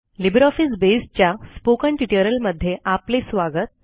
LibreOffice Base च्या spoken ट्युटोरियलमध्ये आपले स्वागत